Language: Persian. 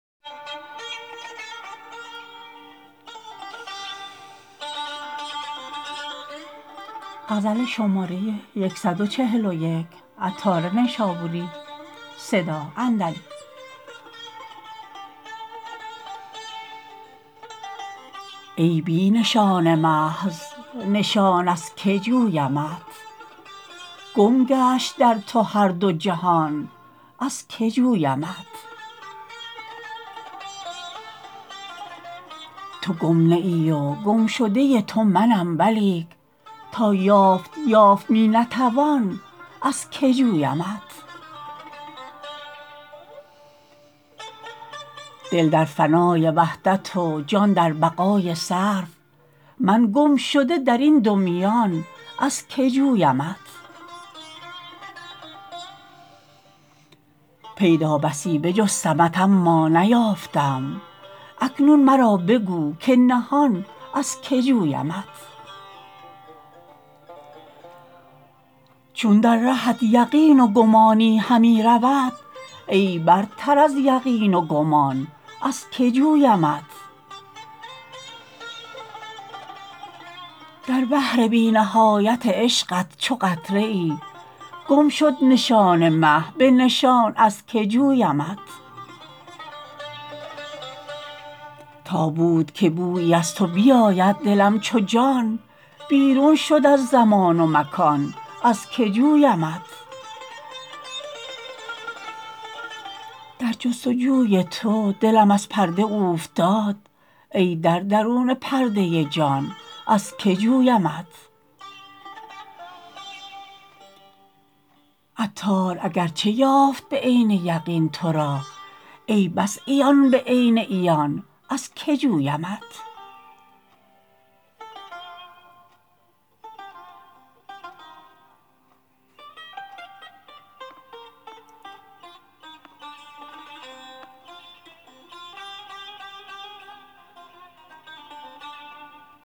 ای بی نشان محض نشان از که جویمت گم گشت در تو هر دو جهان از که جویمت تو گم نه ای و گمشده تو منم ولیک نایافت یافت می نتوان از که جویمت دل در فنای وحدت و جان در بقای صرف من گمشده درین دو میان از که جویمت پیدا بسی بجستمت اما نیافتم اکنون مرا بگو که نهان از که جویمت چون در رهت یقین و گمانی همی رود ای برتر از یقین و گمان از که جویمت در بحر بی نهایت عشقت چو قطره ای گم شد نشان من به نشان از که جویمت تا بو که بویی از تو بیابد دلم چو جان بیرون شد از زمان و مکان از که جویمت در جست و جوی تو دلم از پرده اوفتاد ای در درون پرده جان از که جویمت عطار اگرچه یافت به عین یقین تورا ای بس عیان به عین عیان از که جویمت